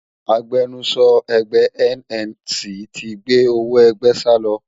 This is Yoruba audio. Agbẹnusọ ẹgbẹ́e NNC ti gbé owó ẹgbẹ́ salọ